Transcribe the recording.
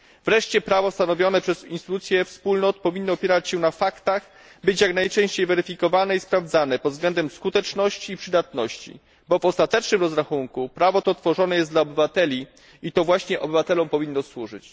Wreszcie prawo stanowione przez instytucje Wspólnot powinno opierać się na faktach, być jak najczęściej weryfikowane i sprawdzane pod względem skuteczności i przydatności, bo w ostatecznym rozrachunku prawo to tworzone jest dla obywateli i to właśnie im powinno służyć.